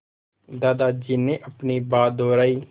दादाजी ने अपनी बात दोहराई